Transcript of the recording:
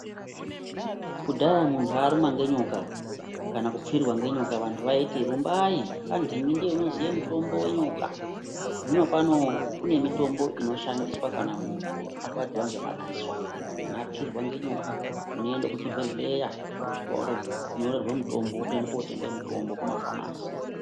Kudhaya muntu arumwa ngenyoka kana kupfirwa ngenyoka vantu vaiti rumbai kwandingi ndiye unoziye mutombo wenyoka. Zvinopano kune mitombo inoshandiswa kana muntu arwadziwa ngemadziso. Kana apfirwa ngenyoka unoende kuchibhedhleya wosvika wotonyorerwe mutombo, wotoende kotenge mutombo kumafamasi.